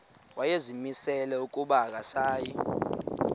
wayezimisele ukuba akasayi